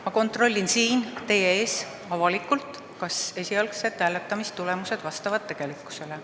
Ma kontrollin siin teie ees avalikult, kas esialgsed hääletamistulemused vastavad tegelikkusele.